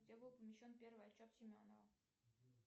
где был помещен первый отчет семенова